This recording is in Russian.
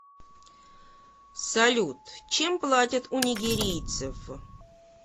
салют чем платят у нигерийцев